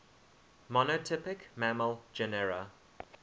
monotypic mammal genera